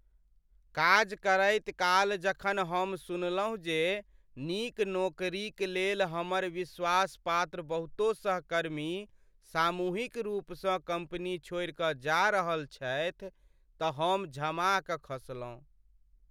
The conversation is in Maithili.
काज करैत काल जखन हम सुनलहुँ जे नीक नोकरीक लेल हमर विश्वासपात्र बहुतो सहकर्मी सामूहिक रूपसँ कम्पनी छोड़ि कऽ जा रहल छथि तऽ हम झमा कऽ खसलौँ।